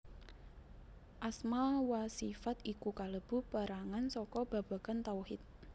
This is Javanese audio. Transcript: Asma wa sifat iku kalebu perangan saka babagan tauhid